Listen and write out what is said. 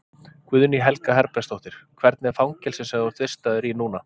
Guðný Helga Herbertsdóttir: Hvernig er fangelsið sem þú ert vistaður í núna?